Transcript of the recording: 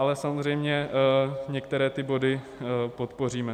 Ale samozřejmě některé ty body podpoříme.